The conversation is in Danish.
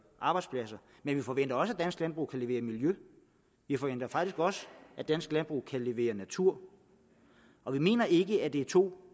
arbejdspladser men vi forventer også at dansk landbrug kan levere miljø vi forventer faktisk også at dansk landbrug kan levere natur og vi mener ikke at det er to